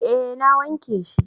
eh na wanke shi